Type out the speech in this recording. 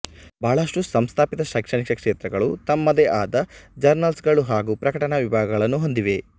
ಬಹಳಷ್ಟು ಸಂಸ್ಥಾಪಿತ ಶೈಕ್ಷಣಿಕ ಕ್ಷೇತ್ರಗಳು ತಮ್ಮದೇ ಆದ ಜರ್ನಲ್ಸ್ ಗಳು ಹಾಗು ಪ್ರಕಟಣಾ ವಿಭಾಗಗಳನ್ನು ಹೊಂದಿವೆ